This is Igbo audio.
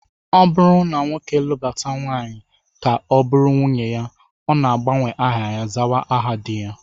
Ọ bụrụ na nwoke lụbata nwaanyị ka ọ bụrụ nwunye ya, ọ na-agbanwe aha ya, zawa aha di ha